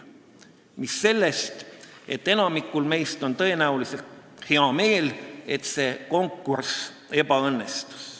Mis sellest, et enamikul meist on tõenäoliselt hea meel, et see konkurss ebaõnnestus.